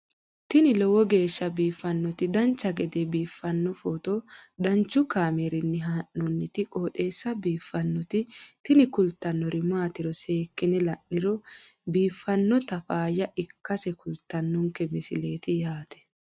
tini lowo geeshsha biiffannoti dancha gede biiffanno footo danchu kaameerinni haa'noonniti qooxeessa biiffannoti tini kultannori maatiro seekkine la'niro biiffannota faayya ikkase kultannoke misileeti yaate